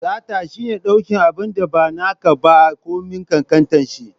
Sata shine la ɗauki abinda ma nake ba, komin ƙanƙantar shi